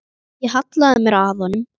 Ég hallaði mér að honum.